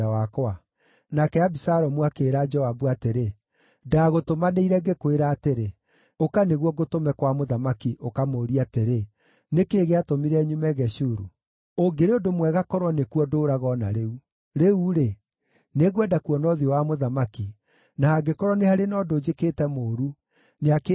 Nake Abisalomu akĩĩra Joabu atĩrĩ, “Ndagũtũmanĩire, ngĩkwĩra atĩrĩ, ‘Ũka, nĩguo ngũtũme kwa mũthamaki, ũkamũũrie atĩrĩ, “Nĩ kĩĩ gĩatũmire nyume Geshuru? Ũngĩrĩ ũndũ mwega korwo nĩkuo ndũũraga o na rĩu!” ’ Rĩu-rĩ, nĩngwenda kuona ũthiũ wa mũthamaki, na hangĩkorwo nĩ harĩ na ũndũ njĩkĩte mũũru, nĩakĩĩnjũrage.”